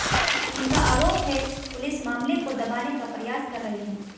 उनका आरोप है पुलिस मामले को दबाने का प्रयास कर रही है